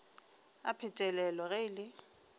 a phetelelo ge e le